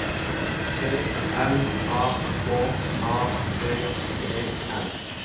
P L A K A T E N